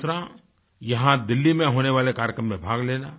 दूसरा यहाँ दिल्ली में होने वाले कार्यक्रम में भाग लेना